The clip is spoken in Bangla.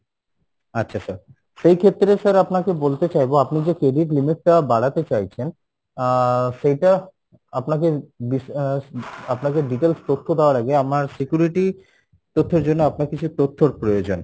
আচ্ছা sir সেক্ষেত্রে sir আপনাকে বলতে চাইবো, আপনি যে credit limit টা বাড়াতে চাইছেন আহ সেইটা আপনাকে আহ আপনাকে details তথ্য দেওয়ার আগে আমার security তথ্যর জন্য আপনার কিছু তথ্যর প্রয়োজন